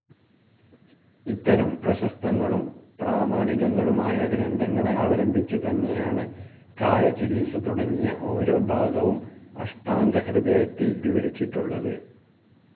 ഇത്തരം പ്രശസ്തങ്ങളും പ്രാമാണികങ്ങളുമായ ഗ്രന്ഥങ്ങളെ അവലംബിച്ചുതന്നെയാണ് കായചികിത്സ തുടങ്ങിയ ഓരോ ഭാഗവും അഷ്ടാംഗഹൃദയത്തിൽ വിവരിച്ചിട്ടുള്ളത്.